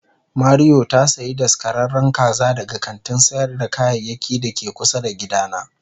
Mario ta sayi daskararren kaza daga kantin sayar da kayayyaki da ke kusa da gidana.